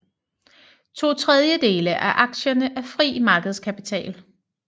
Totredjedele af aktierne er fri markedskapital